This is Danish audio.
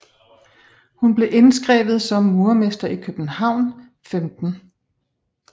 Han blev indskrevet som murermester i København 15